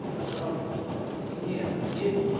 пожалуйста мне ответь